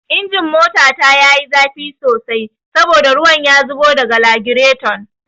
Injin motata ya yi zafi sosai saboda ruwan ya zubo daga lagiraton